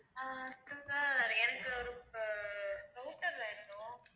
ஆஹ் ஆஹ் router வேணும்.